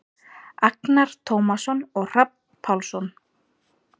Agnar Tómasson og Hrafn Pálsson.